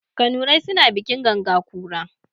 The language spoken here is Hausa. Kanurai suna bikin ganga kura.